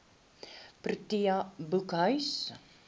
protea boekhuis